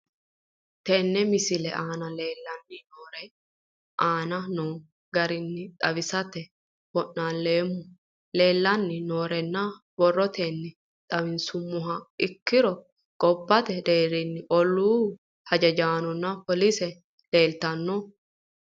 Tene misile aana leelanni nooerre aane noo garinni xawisate wonaaleemmo. Leelanni nooerre borrotenni xawisummoha ikkiro gobbate deerinni ollu hajjajaanonna polise leeltanni nooe.